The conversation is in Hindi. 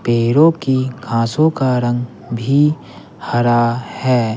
पैरों की खांसों का रंग भी हरा है।